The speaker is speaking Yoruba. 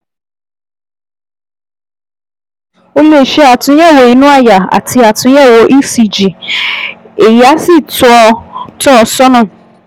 Ó lè ṣe àtúnyẹ̀wò inú àyà àti àtúnyẹ̀wò ECG èyí á sì tọ́ ọ tọ́ ọ sọ́nà